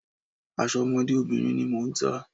Aṣọ ọmọdé obìnrin ni mò ń tà.